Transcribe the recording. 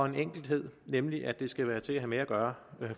en enkelhed nemlig at det skal være til at have med at gøre